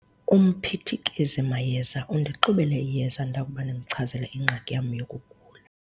Umphithikezimayeza undixubele iyeza ndakuba ndimchazele ingxaki yam yokugula.